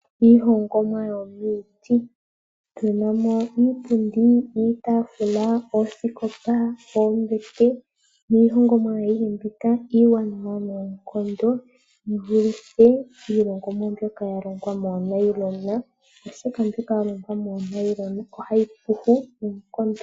Iihongomwa yomiiti otunamo iipundi, iitaafula, oosikopa, oombete niihongomwa ayihe mbika iiwanawa noonkondo yivuluthe iilongomwa mbyoka yalongwa moonailona oshoka mbyoka yalongwa moonailona ohayi kulupa nuupu.